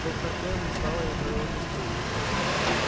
доктор кэлвин встала и оправила костюм